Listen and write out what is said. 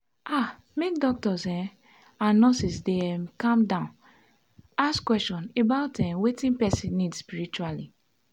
ah make doctors um and nurses dey calm um down ask question about um wetin person need spritually.